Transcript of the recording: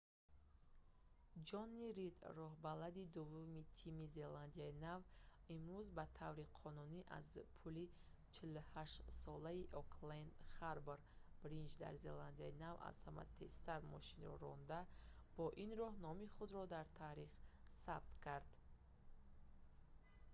ҷонни рид роҳбалади дуввуми тими a1gp зеландияи нав имрӯз ба таври қонунӣ аз рӯи пули 48-солаи окленд харбор бриҷ дар зеландияи нав аз ҳама тезтар мошинро ронда бо ин роҳ номи худро дар таърих сабт кард